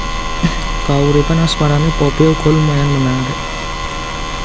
Kauripan asmarané Poppy uga lumayan menarik